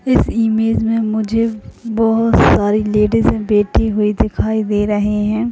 इस इमेज मे मुझे बहुत सारी लेडिजे बैठी हुई दिखाई दे रहे है।